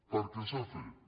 perquè s’ha fet